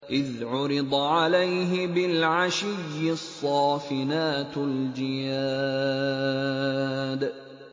إِذْ عُرِضَ عَلَيْهِ بِالْعَشِيِّ الصَّافِنَاتُ الْجِيَادُ